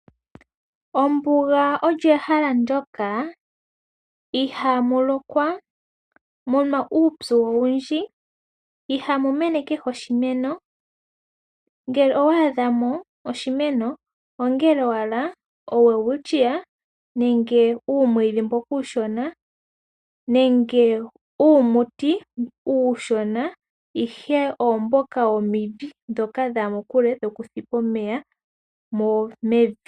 Ombuga olyo ehala ndyoka ihaamu lokwa, mu na uupyu owundji, ihaamu mene kehe oshimeno, ngele owa adha mo oshimeno, ongele owala oWelwitchia nenge uumwiidhi mboka uushona nenge uumuti uushona ihe oomboka womidhi ndhoka dha ya mokule dhoputhipa omeya mevi.